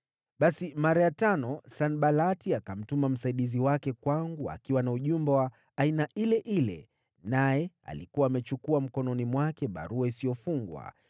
Basi, mara ya tano, Sanbalati akamtuma msaidizi wake kwangu akiwa na ujumbe wa aina ile ile, naye alikuwa amechukua mkononi mwake barua isiyofungwa,